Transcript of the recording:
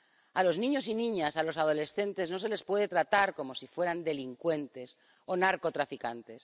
A los niños y niñas, a los adolescentes no se les puede tratar como si fueran delincuentes o narcotraficantes.